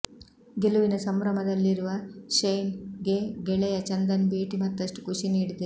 ಗೆಲುವಿನ ಸಂಭ್ರಮದಲ್ಲಿರುವ ಶೈನ್ ಗೆ ಗೆಳೆಯ ಚಂದನ್ ಭೇಟಿ ಮತ್ತಷ್ಟು ಖುಷಿ ನೀಡಿದೆ